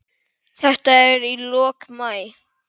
Þetta er í lok maí.